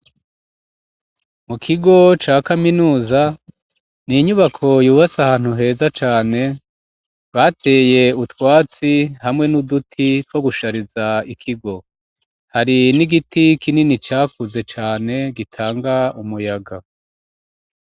Mu kigo ca kaminuza n'inyubako yubatse ahantu heza cane bateye utwatsi hamwe n'uduti two gushariza ikigo hari n'igiti kinini cakuze cane gitanga umuyaga.